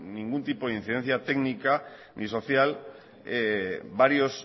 ningún tipo de incidencia técnica ni social varios